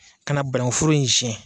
Ka na bananku foro in siɲɛ.